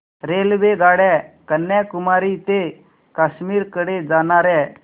रेल्वेगाड्या कन्याकुमारी ते काश्मीर कडे जाणाऱ्या